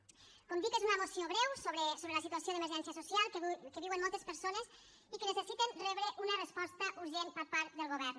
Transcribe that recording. com dic és una moció breu sobre la situació d’emergència social que viuen moltes persones i que necessiten rebre una resposta urgent per part del govern